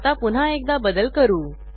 आता पुन्हा एकदा बदल करू